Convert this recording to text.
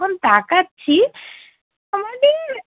তাকাচ্ছি